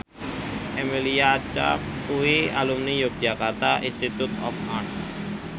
Emilia Clarke kuwi alumni Yogyakarta Institute of Art